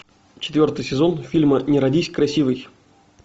четвертый сезон фильма не родись красивой